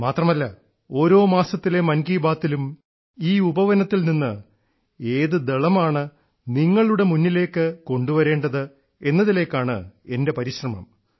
മാത്രമല്ല ഓരോ മാസത്തിലെ മൻ കി ബാത്തിലും ഈ ഉപവനത്തിൽനിന്ന് ഏത് ദളമാണ് നിങ്ങളുടെ മുമ്പിലേക്ക് കൊണ്ടുവരേണ്ടത് എന്നതിലേക്കാണ് എൻറെ പരിശ്രമം